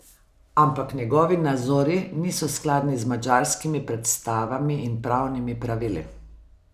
Ampak njegovi nazori niso skladni z madžarskimi predstavami in pravnimi pravili.